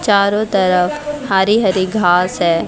चारों तरफ हरी हरी घास है।